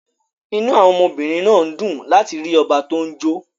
Inú àwọn ọmọbìnrin náà dùn láti rí ọba tó ń jó